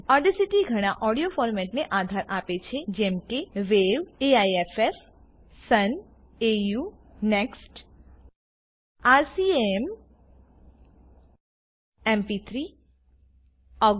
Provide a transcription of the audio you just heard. Audacity ઘણા audio ફોર્મેટને આધાર આપે છે જેમ કે વાવ AIFF Sun AU NeXT RCM institute દે રિચર્સ ઇટી coordination acoustic music MP3 MPEG I layer 3 એક્સપોર્ટને જુદા એનકોડરની જરૂર પડે છે